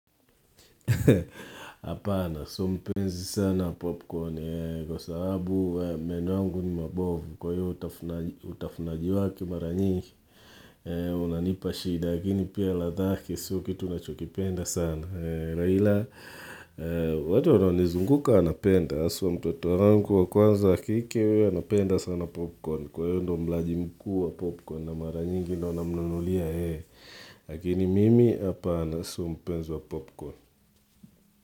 Apana, sio mpenzi sana popcorn kwa sababu meno yangu ni mabovu kwa hiyo utafunaji wake mara nyingi unanipa shida lakini pia ladhake, sio kitu nachokipenda sana Raila, watu wanaonizunguka wanapenda aswa mtoto wangu wa kwanza wa kike huyo anapenda sana popcorn kwa hiyo ndo mlaji mkuu wa popcorn a mara nyingi ndio namunulia yeye. Lakini mimi apana, so mpenzi wa popcorn.